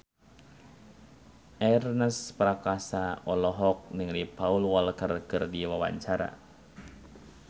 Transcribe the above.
Ernest Prakasa olohok ningali Paul Walker keur diwawancara